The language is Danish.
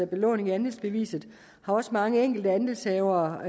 belåning af andelsbeviset har også mange andelshavere